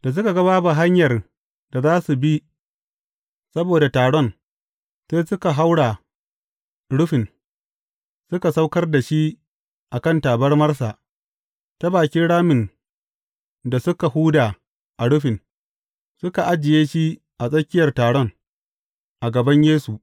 Da suka ga babu hanyar da za su bi saboda taron, sai suka haura rufin, suka saukar da shi a kan tabarmarsa, ta bakin ramin da suka huda a rufin, suka ajiye shi a tsakiyar taron, a gaban Yesu.